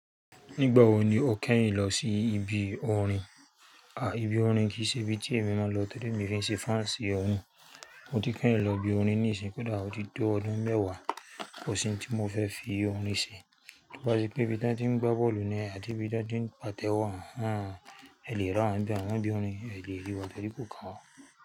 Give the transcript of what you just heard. Nígbà wo ni o kẹ́yìn lọ sí ibi orin? Ibi orin kì í ṣe ibi tí èmi máa ń lọ tori mi o ki ṣe faansi orin Mo ti kẹ́yìn lọ ibi orin níisin koda o ti to ọdún mẹ́wàá, kosi n tí mo fẹ́ fi orin ṣe. T'oba se pé ibi tí wọ́n ti ń gbá bọ́ọ̀lù ni àti ibi tí wọ́n ti ń pàtẹ́wọ́, àń, ẹ lè ràwa n be àmọ́ bí orin, ẹ lè ríi wá tori kò kan wa.